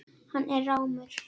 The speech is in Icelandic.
Hann er rámur.